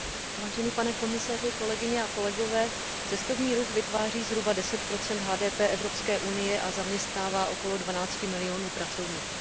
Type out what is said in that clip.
Vážený pane komisaři, kolegyně a kolegové, cestovní ruch vytváří zhruba 10 HDP Evropské unie a zaměstnává okolo 12 milionů pracovníků.